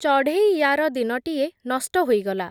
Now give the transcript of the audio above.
ଚଢ଼େଇଆର ଦିନଟିଏ ନଷ୍ଟ ହୋଇଗଲା ।